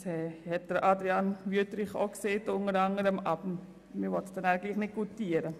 Das hat unter anderem auch Grossrat Wüthrich gesagt, aber man will das dann trotzdem nicht goutieren.